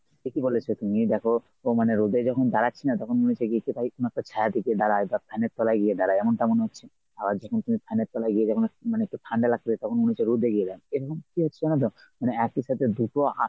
ঠিকই বলেছো তুমি। দেখো মানে রোদে যখন দাঁড়াচ্ছি না তখন মনে হচ্ছে গিয়ে একটু যাই ছায়াতে গিয়ে দাঁড়াই বা fan এর তলায় গিয়ে দাঁড়াই এমনটা মনে হচ্ছে আবার যখন তুমি fan এর তলায় গিয়ে দেখনা মানে ঠান্ডা লাগছে তখন মনে হচ্ছে রোদে গিয়ে দাঁড়াই কী হচ্ছে জানো তো মানে একই সাথে দুটো আ